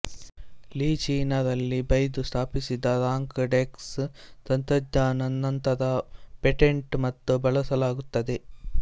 ಲಿ ಚೀನಾ ರಲ್ಲಿ ಬೈದು ಸ್ಥಾಪಿಸಿದಾಗ ರಾಂಕ್ ಡೆಕ್ಸ್ ತಂತ್ರಜ್ಞಾನ ನಂತರ ಪೇಟೆಂಟ್ ಮತ್ತು ಬಳಸಲಾಗುತ್ತದೆ